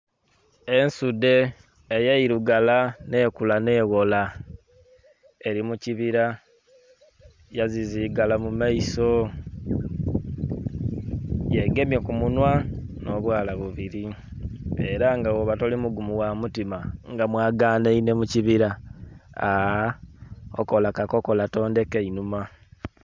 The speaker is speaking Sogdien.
Ensudhe eyairugala nhekula nheghola eri mu kibira yaziziigala mu maiso. Yegemye ku munhwa n'obwala bubiri, era nga bwoba toli mugumu ghamutima nga mwaganhainhe mu kibira... okola kakokola tondheka inhuma.